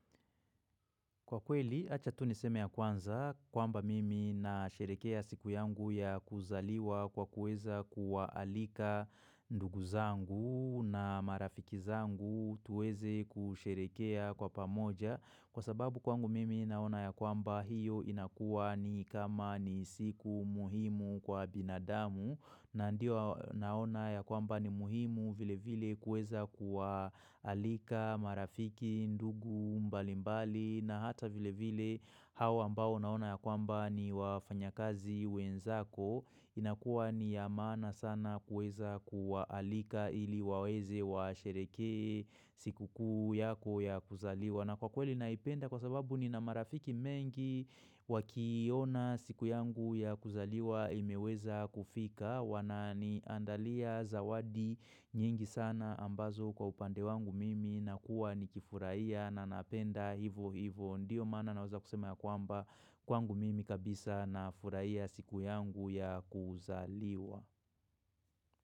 Kwa kweli, acha tu niseme ya kwanza kwamba mimi na sherekea siku yangu ya kuzaliwa kwa kuweza kuwa alika ndugu zangu na marafiki zangu tuweze kusherekea kwa pamoja. Kwa sababu kwangu mimi naona ya kwamba hiyo inakuwa ni kama ni siku muhimu kwa binadamu na ndio naona ya kwamba ni muhimu vile vile kuweza kuwa alika marafiki, ndugu, mbalimbali na hata vile vile hawa ambao naona ya kwamba ni wafanya kazi wenzako. Inakua niya maana sana kuweza kuwaalika ili waweze wa sherekee siku kuu yako ya kuzaliwa na kwa kweli naipenda kwa sababu ni na marafiki mengi wakiona siku yangu ya kuzaliwa imeweza kufika Wanani andalia zawadi nyingi sana ambazo kwa upande wangu mimi nakuwa ni kifurahia na napenda hivo hivo Ndiyo maana na waze kusema ya kwamba kwangu mimi kabisa na furahia siku yangu ya kuzaliwa.